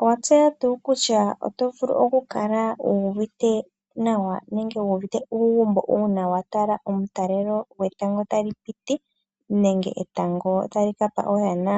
Owatseya tuu kutya oto vulu okukala wuuvite nawa nenge wuuvite uugumbo uuna watala omutalelo gwetango tali piti nenge etango tali kapa oyana?